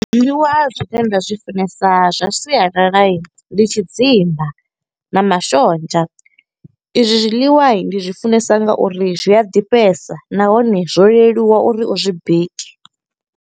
Zwiḽiwa zwine nda zwi funesa, zwa sialala ndi tshidzimba na mashonzha. I zwi zwiḽiwa ndi zwi funesa nga uri, zwi a ḓifhesa. Nahone, zwo leluwa uri u zwi bike.